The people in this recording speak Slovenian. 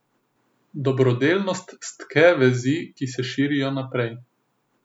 Dobrodelnost stke vezi, ki se širijo naprej.